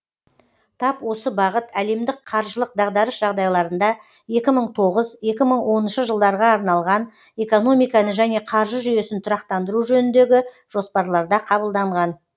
тап осы бағыт әлемдік қаржылық дағдарыс жағдайларында екі мың тоғыз екі мың оныншы жылдарға арналған экономиканы және қаржы жүйесін тұрақтандыру жөніндегі жоспарларда қабылданған